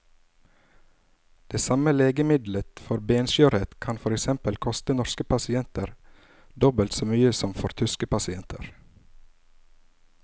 Det samme legemiddelet for benskjørhet kan for eksempel koste norske pasienter dobbelt så mye som for tyske pasienter.